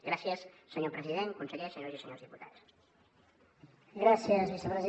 gràcies senyor president conseller senyores i senyors diputats